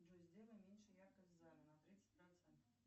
джой сделай меньше яркость в зале на тридцать процентов